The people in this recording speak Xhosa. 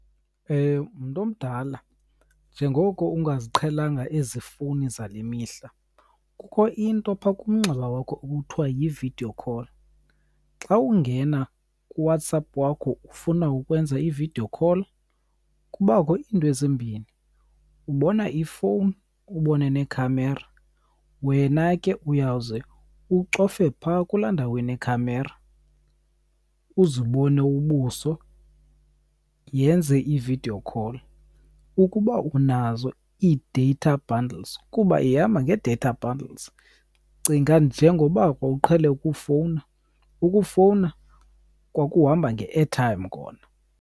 Mntu omdala, njengoko ungaziqhelanga ezi fowuni zale mihla, kukho into phaa kumnxeba wakho ekuthiwa yi-video call. Xa ungena kuWhatsApp wakho ufuna ukwenza i-video call, kubakho iinto ezimbini. Ubona ifowuni, ubone nekhamera. Wena ke uyawuze ucofe phaa kulaa ndawo inekhamera, uzibone ubuso yenze i-video call ukuba unazo ii-data bundles kuba ihamba nge-data bundles. Cinga njengoba wawuqhele ukufowuna, ukufowuna kwakuhamba nge-airtime kona.